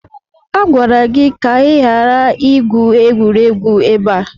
Agwara gị ka ị ghara igwu egwuregwu ebe a!